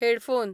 headphone